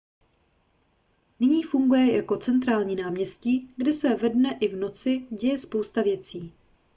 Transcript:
nyní funguje jako centrální náměstí kde se ve dne i v noci děje spousta věcí